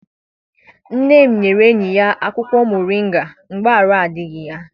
Nne m nyere enyi ya akwụkwọ moringa mgbe arụ adịghị ya.